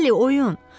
Bəli, oyun.